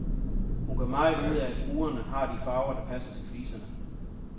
Hun gør meget ud af, at fugerne har de farver, der passer til fliserne.